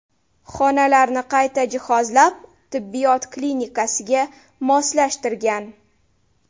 Xonalarni qayta jihozlab, tibbiyot klinikasiga moslashtirgan.